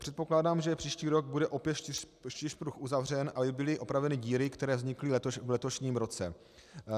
Předpokládám, že příští rok bude opět čtyřpruh uzavřen, aby byly opraveny díry, který vznikly v letošním roce.